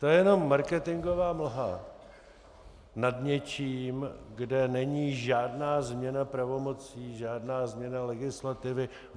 To je jenom marketingová mlha nad něčím, kde není žádná změna pravomocí, žádná změna legislativy.